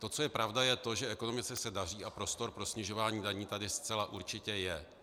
To, co je pravda, je to, že ekonomice se daří a prostor pro snižování daní tady zcela určitě je.